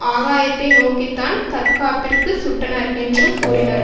ஆகாயத்தை நோக்கித்தான் தற்காப்பிற்குச் சுட்டனர் என்றும் கூறினர்